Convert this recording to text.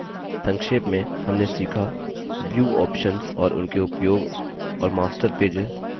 संक्षेप में हमने सीखाव्यू options और उनके उपयोग और master पेजेस